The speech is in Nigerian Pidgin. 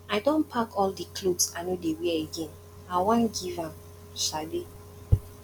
i don pack all the clothes i no dey wear again i wan give am sade